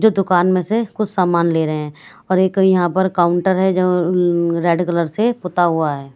जो दुकान में से कुछ सामान ले रहे हैं और एक ही यहां पर काउंटर है जो रेड कलर से पूता हुआ है।